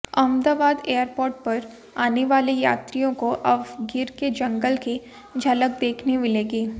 Ahmedabad airport पर आनेवाले यात्रियों को अब गिर के जंगल की झलक देखने मिलेगी